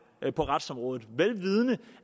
på retsområdet vel vidende